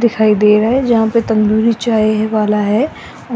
दिखाई दे रहा है जहां पे तंदूरी चाय वाला है